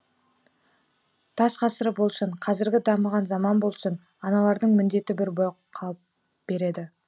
тас ғасыры болсын қазіргі дамыған заман болсын аналардың міндеті бір болып қалып береді